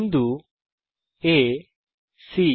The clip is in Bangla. বিন্দু A সি